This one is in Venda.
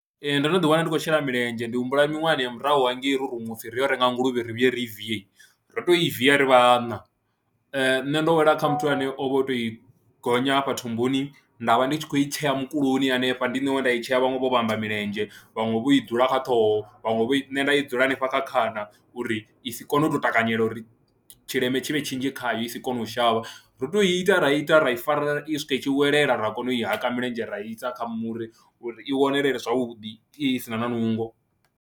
Ee, ndo no ḓiwana ndi khou shela milenzhe, ndi humbula miṅwahani ya murahu hangei ro rumiwa u pfhi ri yo renga nguluvhe ri vhuye riivie, ro tou i viya ri vhaṋa, nṋe ndo wela kha muthu ane o vha o tou i gonya hafha thumbuni nda vha ndi tshi khou i tshea mukuloni hanefha, ndi nṋe wa nda i tshea, vhaṅwe vho vhamba milenzhe, vhaṅwe vho i dzula kha ṱhoho, vhaṅwe vho nṋe nda i dzula hanefha kha khana uri i si kone u tou takanyela uri tshileme tshi vhe tshinzhi khayo i si kone u shavha, ro tou ita ra ita ra i fara u swika i tshi welela ra kona u i haka milenzhe ra i sa kha muri uri i wanalee zwavhuḓi i si na na nungo.